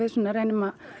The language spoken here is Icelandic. reynum